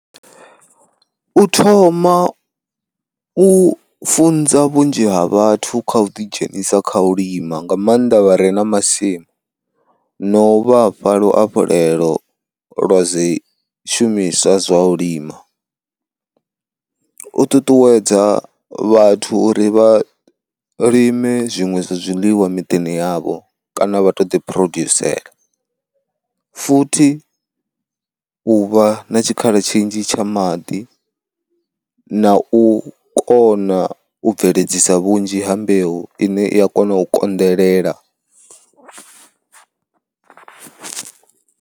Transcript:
U thoma u funza vhunzhi ha vhathu kha u ḓidzhenisa kha u lima nga maanḓa vhare na masimu, no u vhafha luhafhulelo lwa zwi shumiswa zwa u lima. U ṱuṱuwedza vhathu uri vha lime zwiṅwe zwa zwiḽiwa miḓini yavho kana vha to ḓi phurodusela, futhi u vha na tshikhala tshinzhi tsha maḓi na u kona u bveledzisa vhunzhi ha mbeu ine i a kona u konḓelela.